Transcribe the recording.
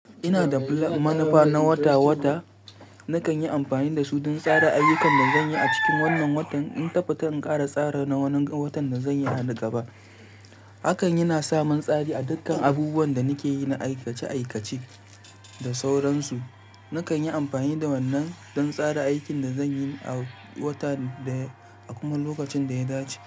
Ina da manafa na wata-wata. Nakan yi amfani da su don tsara ayyukan da zan yi a cikin wannan watan in ta fita in ƙara tsara na wani watan da zan yi a gaba. Haka yana samun tsari a dukkan abubuwan da nake yi na aikace-aikace da sauransu. Nakan yi amfani da wannan don tsara aikin da zan yi a wata da a kuma lokacin da ya dace.